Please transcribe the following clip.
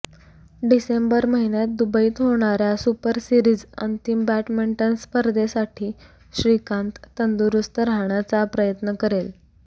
डिसेंबर महिन्यात दुबईत होणाऱया सुपरसिरीज अंतिम बॅडमिंटन स्पर्धेसाठी श्रीकांत तंदुरूस्त राहण्याचा प्रयत्न करेल